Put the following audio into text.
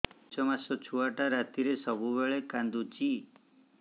ପାଞ୍ଚ ମାସ ଛୁଆଟା ରାତିରେ ସବୁବେଳେ କାନ୍ଦୁଚି